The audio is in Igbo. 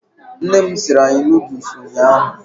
Nne m siiri anyị nuduls ụnyaahụ.